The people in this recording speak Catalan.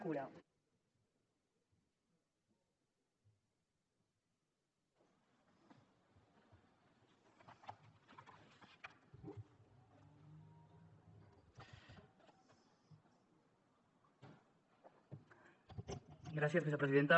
gràcies vicepresidenta